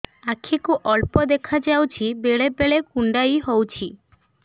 ଆଖି କୁ ଅଳ୍ପ ଦେଖା ଯାଉଛି ବେଳେ ବେଳେ କୁଣ୍ଡାଇ ହଉଛି